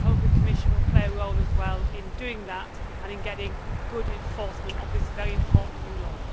I hope the Commission will also play a role in doing that and in getting good enforcement of this very important new law.